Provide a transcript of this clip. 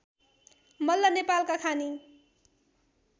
मल्ल नेपालका खानी